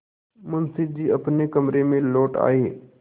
मुंशी जी अपने कमरे में लौट आये